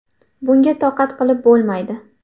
Bunga toqat qilib bo‘lmaydi.